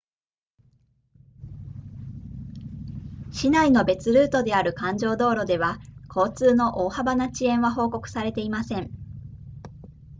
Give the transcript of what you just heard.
市内の別ルートである環状道路では交通の大幅な遅延は報告されていません